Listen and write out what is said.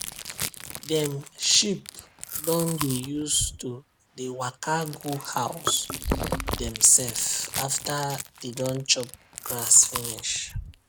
dem sheep don dey use to dey waka go house dem sef after dey don chop grass finish